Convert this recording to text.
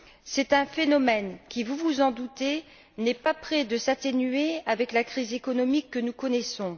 C'est un phénomène qui, vous vous en doutez, n'est pas près de s'atténuer avec la crise économique que nous connaissons.